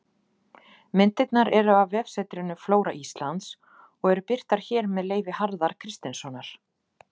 Myndirnar eru af vefsetrinu Flóra Íslands og eru birtar hér með leyfi Harðar Kristinssonar.